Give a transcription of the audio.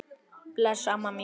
Bless amma mín.